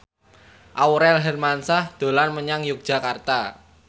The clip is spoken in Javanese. Aurel Hermansyah dolan menyang Yogyakarta